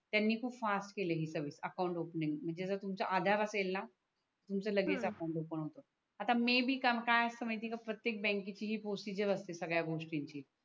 त्यांनी खूप फासट केली ही सर्व्हिस अकाउंट ओफनिंगची म्हणजे जर तुमच आधार असेलणा तुमच हम्म लगेच अकाउंट ओफन होतो आता मेबी काय असतं माहिती आहे का प्रतेक बँक केची ही प्रोसेझर असते संगड्या गोष्टीची